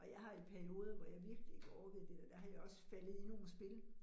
Og jeg har i perioder, hvor jeg virkelig ikke orkede det der, der er jeg også faldet i nogle spil